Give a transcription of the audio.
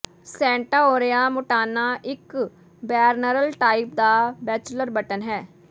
Centaurea montana ਇੱਕ perennial type ਦਾ bachelor button ਹੈ